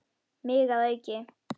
Mig að auki.